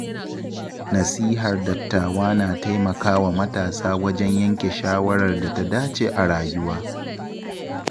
Nasihar dattawa na taimakawa matasa wajen yanke shawarar da ta dace a rayuwa.